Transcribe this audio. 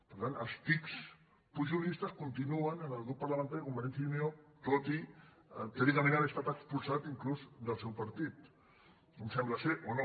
per tant els tics pujolistes continuen en el grup parlamentari de convergència i unió tot i teòricament haver estat expulsat inclús del seu partit sembla o no